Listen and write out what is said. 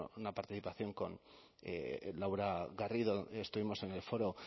recuerdo una participación con laura garrido estuvimos en el foro